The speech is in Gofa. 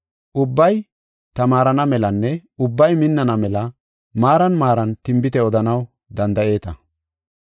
Ubbay tamaarana melanne ubbay minnana mela maaran maaran tinbite odanaw danda7eeta.